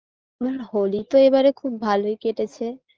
হুম হোলি তো এবারে খুব ভালোই কেটেছে